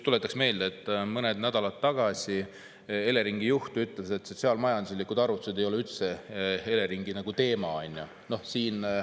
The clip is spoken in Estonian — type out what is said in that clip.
Tuletan meelde, et mõned nädalad tagasi Eleringi juht ütles, et sotsiaal-majanduslikud arvutused ei ole üldse Eleringi teema.